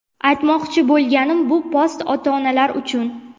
Aytmoqchi bo‘lganim, bu post ota-onalar uchun.